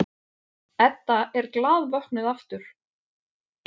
Edda er glaðvöknuð aftur.